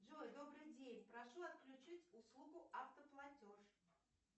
джой добрый день прошу отключить услугу автоплатеж